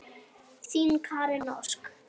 Þín, Karen Ósk.